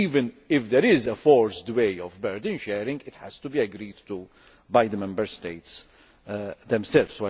point. Even if there is a forced way of burden sharing, it has to be agreed to by the Member States themselves.